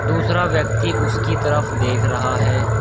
दूसरा व्यक्ति उसकी तरफ देख रहा है।